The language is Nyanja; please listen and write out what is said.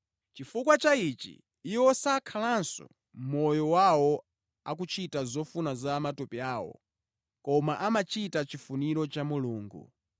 Chifukwa cha ichi, iwo sakhalanso moyo wawo akuchita zofuna za matupi awo, koma amachita chifuniro cha Mulungu.